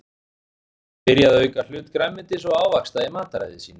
Oft er gott að byrja á að auka hlut grænmetis og ávaxta í mataræði sínu.